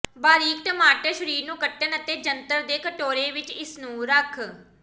ਬਾਰੀਕ ਟਮਾਟਰ ਸਰੀਰ ਨੂੰ ਕੱਟਣ ਅਤੇ ਜੰਤਰ ਦੇ ਕਟੋਰੇ ਵਿੱਚ ਇਸ ਨੂੰ ਰੱਖ